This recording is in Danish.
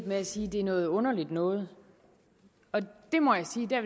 med at sige at det er noget underligt noget og der må jeg sige at